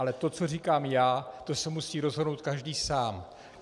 Ale to, co říkám já, to si musí rozhodnout každý sám.